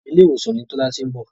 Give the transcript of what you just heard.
Ilé ìwòsàn ni Tọ́lá ti ń bọ̀.